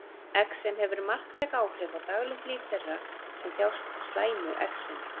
exem hefur marktæk áhrif á daglegt líf þeirra sem þjást af slæmu exemi